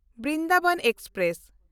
Brindaban express